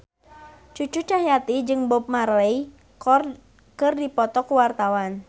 Cucu Cahyati jeung Bob Marley keur dipoto ku wartawan